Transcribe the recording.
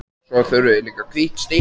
Svo þurfum við líka hvítt stykki.